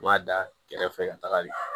N b'a da kɛrɛfɛ ka tagali